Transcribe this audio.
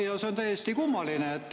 Ja see on täiesti kummaline.